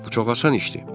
Bu çox asan işdir.